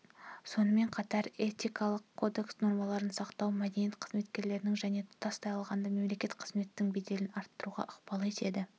сонымен қатар этикалық кодекс нормаларын сақтау мәдениет қызметкерлерінің және тұтастай алғанда мемлекеттік қызметтің беделін арттыруға ықпал етеді